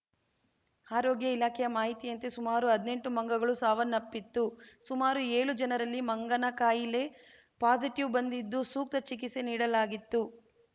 ಆರೋಗ್ಯ ಇಲಾಖೆಯ ಮಾಹಿತಿಯಂತೆ ಸುಮಾರು ಹದ್ನೆಂಟು ಮಂಗಗಳು ಸಾವನ್ನಪ್ಪಿತ್ತು ಸುಮಾರು ಏಳು ಜನರಲ್ಲಿ ಮಂಗನಕಾಯಿಲೆ ಪಾಸಿಟಿವ್‌ ಬಂದಿದ್ದು ಸೂಕ್ತ ಚಿಕಿತ್ಸೆ ನೀಡಲಾಗಿತ್ತು